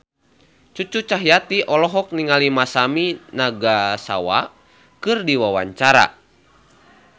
Cucu Cahyati olohok ningali Masami Nagasawa keur diwawancara